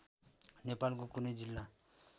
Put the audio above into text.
नेपालको कुनै जिल्ला